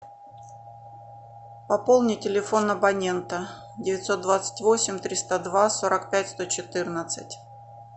пополни телефон абонента девятьсот двадцать восемь триста два сорок пять сто четырнадцать